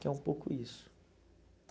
Que é um pouco isso.